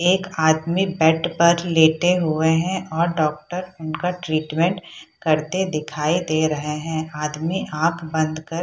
एक आदमी बेड पे लेटे हुए हैं और डॉक्टर उनका ट्रीटमेंट करते हुए दिखाई दे रहे है आदमी आंख बंद कर --